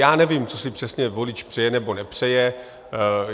Já nevím, co si přesně volič přeje nebo nepřeje.